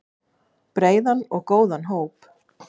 Breiðan og góðan hóp.